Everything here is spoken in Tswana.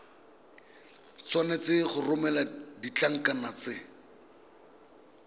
tshwanetse go romela ditlankana tse